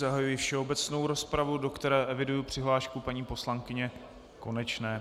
Zahajuji všeobecnou rozpravu, do které eviduji přihlášku paní poslankyně Konečné.